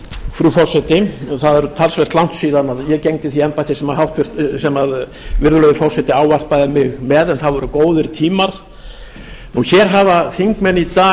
frú forseti það er talsvert langt síðan ég gegndi því embætti sem virðulegur forseti ávarpaði mig með en það voru góðir tímar hér hafa þingmenn í dag